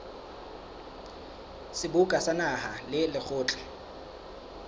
seboka sa naha le lekgotla